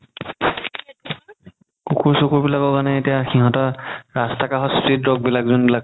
কুকুৰ চুকুৰ বিলাকৰ কাৰণে এতিয়া সিহতৰ ৰাস্তা কাষত street dog বিলাক যোনবিলাক